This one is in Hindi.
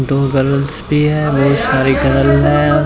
दो गर्ल्स भी हैं ढेर सारी गर्ल हैं।